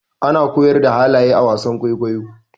ana koyar da halaye a wasan kwaikwayo